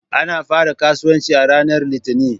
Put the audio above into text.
Ana fara kasuwanci a ranar Litinin.